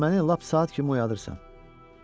Məni lap saat kimi oyadırsan.